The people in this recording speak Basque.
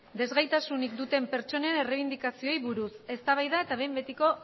desgaitasunik duten pertsonen erreibindikazioei buruz eztabaida eta behin betiko